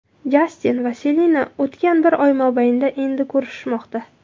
Jastin va Selena o‘tgan bir oy mobaynida endi ko‘rishishmoqda.